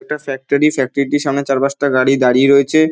এটা factory factory -টির সামনে চার পাঁচটা গাড়ি দাঁড়িয়ে রয়েছে।